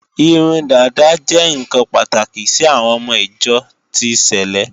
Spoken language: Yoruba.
Irun dàda jẹ́ ǹkan pàtàkì sí àwọn ọmọ ìjọ ti sèlé